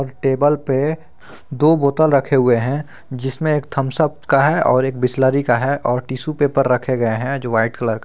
एक टेबल पे दो बोतल रखे हुए हैं जिसमें एक थम्स अप का है और एक बिसलेरी का है और टिशू पेपर रखे गए हैं जो वाइट कलर का है।